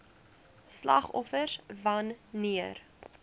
slagoffers wan neer